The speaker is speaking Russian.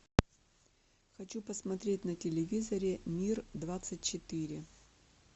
хочу посмотреть на телевизоре мир двадцать четыре